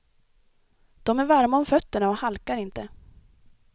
De är varma om fötterna och halkar inte.